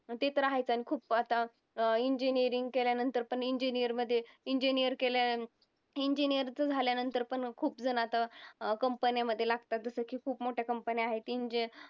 ते तर आहेच आणि खूप आता engineering केल्यानंतर पण engineer मध्ये engineer केल्या engineer चं झाल्यानंतर पण खुपजण आता company मध्ये लागतात जसं की खूप मोठ्या company आहेत